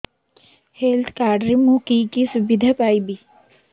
health card ରେ ମୁଁ କି କି ସୁବିଧା ପାଇବି